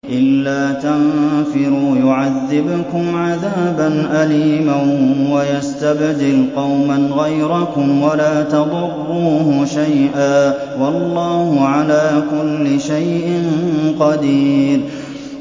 إِلَّا تَنفِرُوا يُعَذِّبْكُمْ عَذَابًا أَلِيمًا وَيَسْتَبْدِلْ قَوْمًا غَيْرَكُمْ وَلَا تَضُرُّوهُ شَيْئًا ۗ وَاللَّهُ عَلَىٰ كُلِّ شَيْءٍ قَدِيرٌ